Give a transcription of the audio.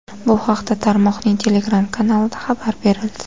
Bu haqda tarmoqning Telegram-kanalida xabar berildi.